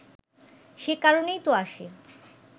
সে কারণেই তো আসি